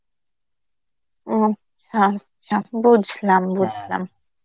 আচ্ছা আচ্ছা বুঝলাম বুঝলাম.